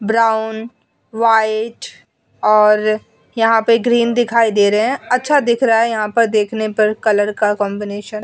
Brown white और यहाँ पे ग्रीन दिखाई दे रहे हैं। अच्छा दिख रहा है यहाँ पर देखने पर कलर का कॉम्बिनेशन ।